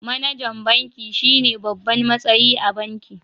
MAnajan banki shine babban matsayi a banki